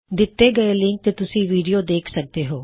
ਦਿੱਤੇ ਹੋਏ ਲਿੰਕ ਤੇ ਤੁਸੀਂ ਵੀਡੀਓ ਦੇਖ ਸਕਦੇ ਹੋ